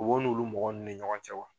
U b'olu mɔgɔ nun ne ɲɔgɔn cɛ wa.